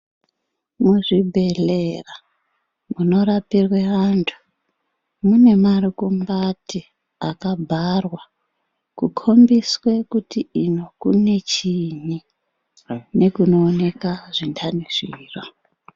Muzvibhedhlera munorapirwe vantu munemarigombati akabharwa kukombiswe kuti uno kune chiini nekunooneka zvindani zviro.